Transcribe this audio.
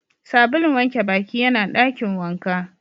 Sabulun wanke Baki yana Dakin wanka.